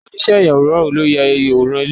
Oniíṣẹ́ ayàwòrán wo ló ya àwòrán ilé yẹn?